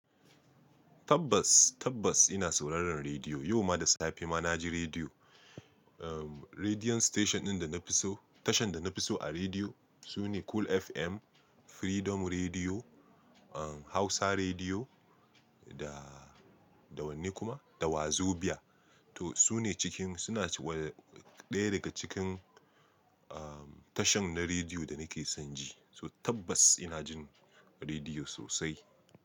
Tabbas, tabbas ina sauraron rediyo. Yau ma da safe ma na ji rediyo. Rediyo station ɗin da na fi so-- tashan da na fi so a rediyo su ne Cool FM, Freedom Rediyo, Hausa Rediyo da, da wanne kuma? Da Wazobia. To su ne cikin, suna cikin, ɗaya daga cikin tashan na rediyo da nake son ji. So tabbas ina jin rediyo sosai.